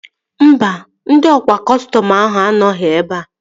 Mba, ndị ọkwa kọstọm ahụ anọghị ebea